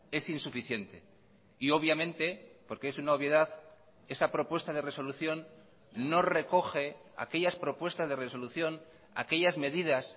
es insuficiente y obviamente porque es una obviedad esa propuesta de resolución no recoge aquellas propuestas de resolución aquellas medidas